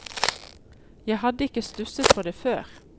Jeg hadde ikke stusset på det før.